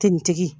Te